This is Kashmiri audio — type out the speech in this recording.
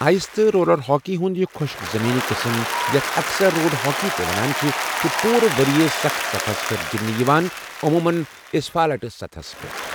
آٮٔس تہٕ رولر ہاکی ہُنٛد یہِ خۄشٕک زٔمیٖنی قسم، یَتھ اَکثر روڈ ہاکی تہِ ونان چھِ، چھُ پوٗرٕ ؤرۍ یہِ سخٕت سطحَس پٮ۪ٹھ گِنٛدِنہٕ یِوان، عموٗمَن اسفالٹہٕ سطحَس پٮ۪ٹھ۔